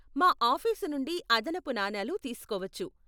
మా ఆఫీసు నుండి అదనపు నాణేలు తీసుకోవచ్చు.